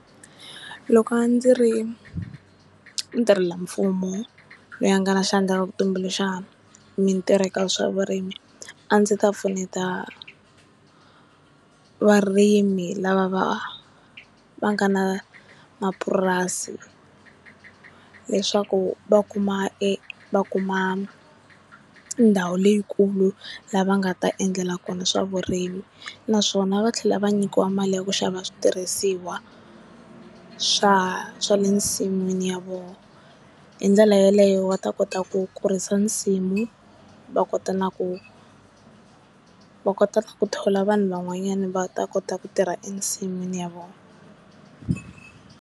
Loko ndzi ri ntirhela mfumo loyi a nga na xandla eka ku tumbuluxa mintirho eka swa vurimi a ndzi ta pfuneta varimi lava va va nga na mapurasi leswaku va kuma e va kuma ndhawu leyikulu la va nga ta endlela kona swa vurimi naswona va tlhela va nyikiwa mali ya ku xava switirhisiwa swa swa le nsin'wini ya vona hi ndlela yaleyo va ta kota ku kurisa nsimu va kota na ku va kota ku thola vanhu van'wanyana va ta kota ku tirha ensin'wini ya vona.